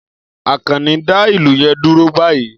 Akanni, dá ìlù yẹn dúró báyìí!